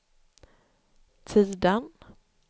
Tidan